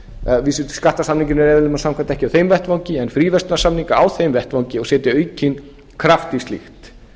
vísu skattasamninga er eðli máls samkvæmt ekki á þeim vettvangi en fríverslunarsamninga á þeim vettvangi og setja aukinn kraft í slíkt